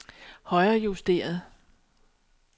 højrejusteret